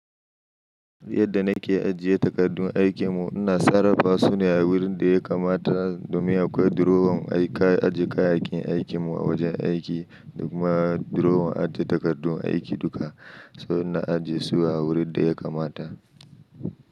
Yadda na ke ajiye takardun aikin mu, ina sarrafa su ne a wurin da ya kamata domin akwai durowan ajiye kayayyakin aikin mu a wajen aiki da kuma durowan ajiye takardun aiki duka, sannan na ajiye su a wurin da ya kamata.